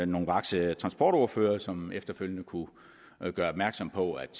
nogle vakse transportordførere som efterfølgende kunne gøre opmærksom på at